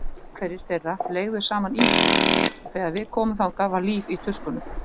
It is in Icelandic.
Einhverjir þeirra leigðu saman íbúð og þegar við komum þangað var líf í tuskunum.